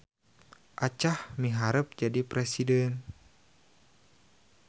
Acah miharep jadi presiden